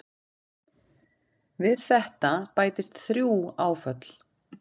Við þetta bætist þrjú áföll.